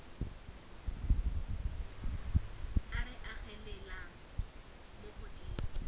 o re agelelang mo godimo